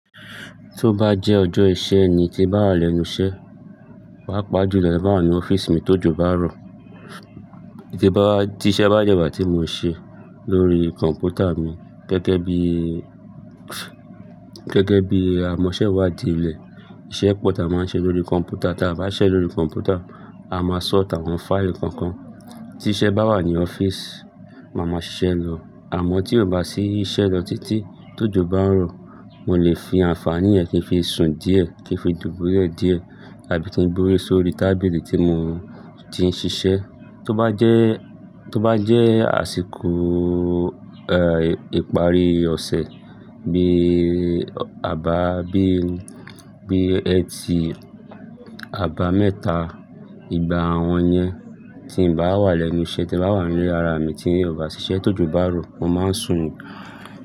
Tó bá jẹ́ ọjọ́ iṣẹ́ ni tí n bá wà lẹ́nu iṣẹ́, pàápàá jùlọ bá wà ní ọ́fíìsì mi tójò bá rọ. Tí iṣẹ́ bá jẹ́ ìbà tí mo ṣe lórí kọ̀m̀pútà mi gẹ́gẹ́ bí, gẹ́gẹ́ bí a mọ iṣẹ́ wa di ilẹ̀, iṣẹ́ pọ̀ tí a máa ń ṣe lórí kọ̀m̀pútà, tí a bá ṣẹ́ lórí kọ̀m̀pútà, a máa ṣọ́ọ́tì àwọn fáìlì kọ̀ọ̀kan. Tí iṣẹ́ bá wà ní ọ́fíìsì, màá máa ṣiṣẹ́ lọ. Àmọ́ tí ò bá ṣí iṣẹ́ lọ títí, tójò bá ń rọ, mo lè fi àǹfààní ẹ kí n fi sùn díẹ̀ kí n fi dùbúlẹ̀ díẹ̀ tàbí kí n gbórí sórí tábìlì tí mo ti ń ṣiṣẹ́. Tó bá jẹ́, tó bá jẹ́ àsìkò, ẹ́, ìparí ọ̀sẹ̀ bí àbá, bí, bí ẹ̀tì àbámẹ́ta, ìgbà àwọn yẹn tí n bá wà lẹ́nu iṣẹ́ tí n bá wà ní ara mi tí n kò bá ṣiṣẹ́ tójò bá rọ, mo máa ń sùn.